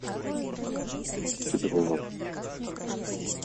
кедровом